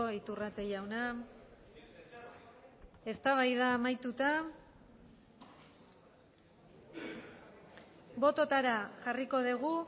iturrate jauna eztabaida amaituta bototara jarriko dugu